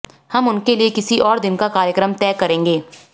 हम उनके लिए किसी और दिन का कार्यक्रम तय करेंगे